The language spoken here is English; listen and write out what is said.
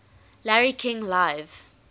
larry king live